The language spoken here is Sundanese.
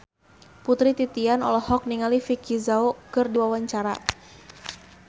Putri Titian olohok ningali Vicki Zao keur diwawancara